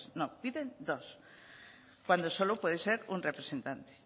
no piden dos cuando solo puede ser un representante